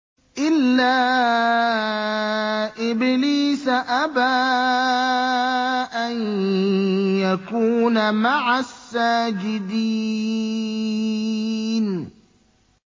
إِلَّا إِبْلِيسَ أَبَىٰ أَن يَكُونَ مَعَ السَّاجِدِينَ